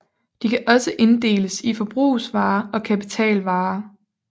De kan også inddeles i forbrugsvarer og kapitalvarer